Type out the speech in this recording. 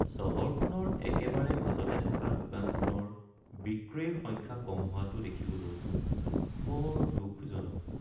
চহৰখনৰ একেবাৰে মাজতে থকা দোকানখনৰ বিক্ৰীৰ সংখ্যা কম হোৱাটো দেখিবলৈ বৰ দুখজনক।